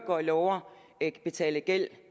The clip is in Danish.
og lover at betale gæld